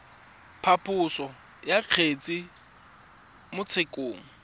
phaposo ya kgetse mo tshekong